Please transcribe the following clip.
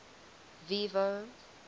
vivo